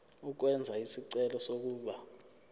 ukwenza isicelo sokuba